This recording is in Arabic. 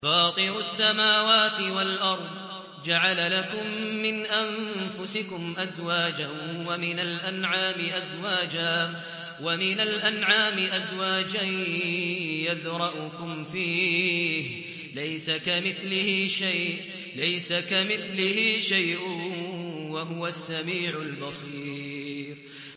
فَاطِرُ السَّمَاوَاتِ وَالْأَرْضِ ۚ جَعَلَ لَكُم مِّنْ أَنفُسِكُمْ أَزْوَاجًا وَمِنَ الْأَنْعَامِ أَزْوَاجًا ۖ يَذْرَؤُكُمْ فِيهِ ۚ لَيْسَ كَمِثْلِهِ شَيْءٌ ۖ وَهُوَ السَّمِيعُ الْبَصِيرُ